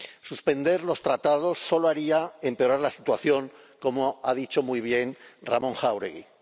Suspender los tratados solo haría empeorar la situación, como ha dicho muy bien Ramón Jáuregui.